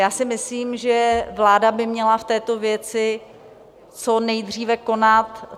Já si myslím, že vláda by měla v této věci co nejdříve konat.